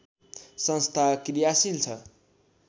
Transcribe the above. संस्था कृयाशील छ